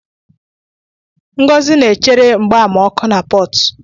Ngozi na-echere mgbama ọkụ na Port.